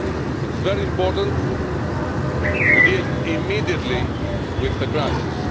It is very important to deal immediately with the crisis.